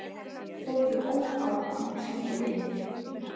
Þórður ók áfram og sneri við.